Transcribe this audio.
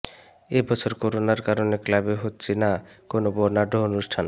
এই বছর করোনার কারণে ক্লাবে হচ্ছে না কোনও বর্ণাঢ্য অনুষ্ঠান